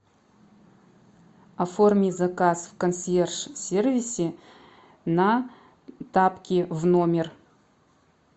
оформи заказ в консьерж сервисе на тапки в номер